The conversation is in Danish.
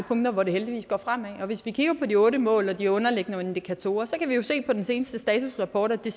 punkter hvor det heldigvis går fremad og i forhold til de otte mål og de underliggende indikatorer kan vi jo se på den seneste statusrapport at det